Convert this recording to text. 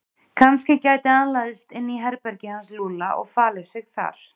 Kannski gæti hann læðst inn í herbergið hans Lúlla og falið sig þar.